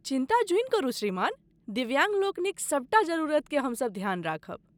चिन्ता जुइन करू श्रीमान, दिव्याङ्ग लोकनिक सभटा जरूरतकेँ हमसभ ध्यान रखबय।